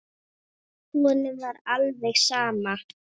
Honum var alveg sama.